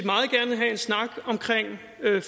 alle